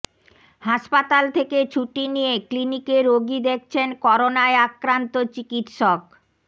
হাসপাতাল থেকে ছুটি নিয়ে ক্লিনিকে রোগী দেখছেন করোনায় আক্রান্ত চিকিৎসক